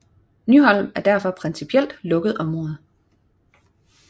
Nyholm er derfor principielt lukket område